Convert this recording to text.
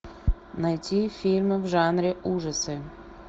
найти фильмы в жанре ужасы